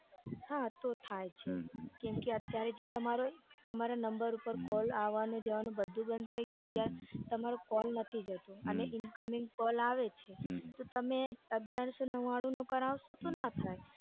હા તો થાય છે કેમ કે અત્યારે જે તમારો number ઉપર call આવાનું જવાનું બધું બંધ થઇ ગયું છે તમારો call નથી જતો અને incoming call આવે છે તો તમે અગિયારસો નવ્વાણું કરાવશો તો ના થાય.